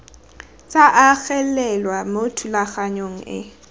tsa agelelwa mo thulaganyong e